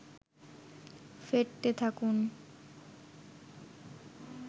ফেটতে থাকুন